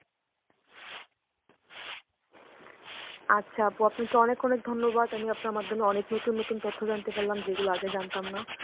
আচ্ছা আপু আপনাকে অনেক অনেক ধন্যবাদ. আমি আপনার মাধ্যমে অনেক নতুন নতুন তথ্য জানতে পারলাম যেগুলো আগে জানতাম না.